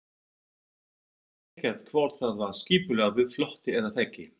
Ég veit ekkert hvort það var skipulagður flótti eða ekki.